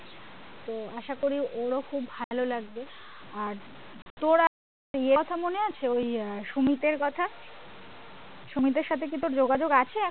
তো আশা করি ওর ও খুব ভালোই লাগবে আর তোর ইয়ের কথা মনে আছে ওই সুমিতের কথা সুমিতের সাথে কি তোর যোগাযোগ আছে এখন?